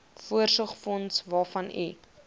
voorsorgsfonds waarvan u